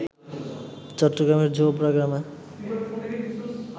চট্টগ্রামের জোবরা গ্রামে